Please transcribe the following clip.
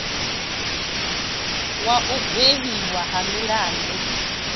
wa u gwevhiwa ha milandu